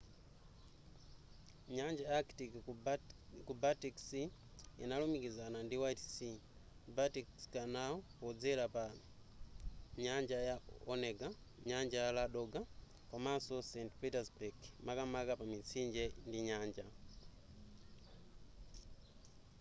nyanja ya arctic ku baltic sea inalumikizana ndi white sea baltic canal podzera pa nyanja ya onega nyanja ya ladoga komanso saint petersburg makamaka pa mitsinje ndi nyanja